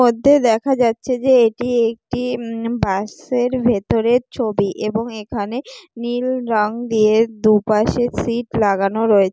মধ্যে দেখা যাচ্ছে যে এটি একটি বাস -এর ভেতরের ছবি এবং এখানে নীল রং দিয়ে দুপাশের সিট লাগানো রয়ে--